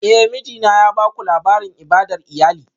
Eh, mijina ya baku labarin ibadar iyali